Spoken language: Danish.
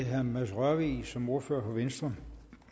herre mads rørvig som ordfører for venstre